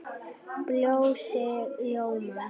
Bjössi ljómar upp.